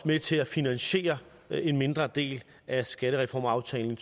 med til at finansiere en mindre del af skattereformaftalen